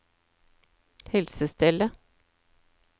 helsestellet